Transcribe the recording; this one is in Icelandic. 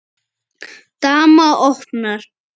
Dama opnar.